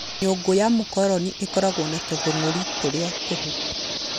Nyũngũ ya mũkoroni ĩkoragwo na tũthũngũri tũrĩa tũhũ